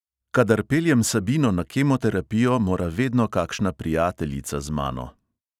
Kadar peljem sabino na kemoterapijo, mora vedno kakšna prijateljica z mano.